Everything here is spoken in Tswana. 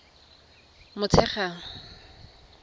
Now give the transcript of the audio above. motshegang